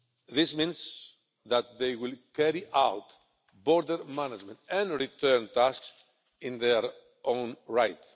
This means that they will carry out border management and return tasks in their own right.